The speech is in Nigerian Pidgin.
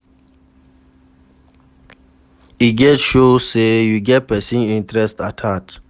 E de show say you get persin interest at heart